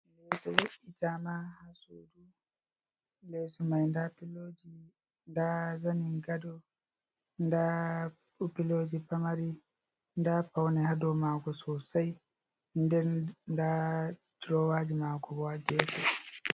Leeso be'ita ma ha:sudu leeso mai nda piloji nda zanin gado nda piloji pamari nda faune hado mago sosai den nda durowaji mago bo ha gefe.